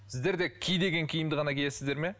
сіздер де ки деген киімді ғана киесіздер ме